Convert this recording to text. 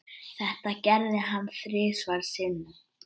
Þetta gerði hann þrisvar sinnum.